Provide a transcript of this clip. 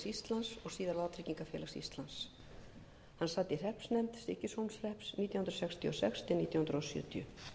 íslands og síðar vátryggingafélags íslands hann sat í hreppsnefnd stykkishólmshrepps nítján hundruð sextíu og sex til nítján hundruð sjötíu